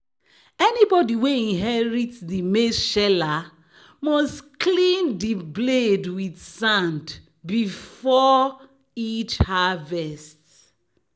"anybody wey inherit di maize sheller must clean di blade with sand before each harvest."